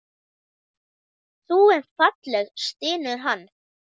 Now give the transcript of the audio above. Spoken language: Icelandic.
Þú ert falleg, stynur hann.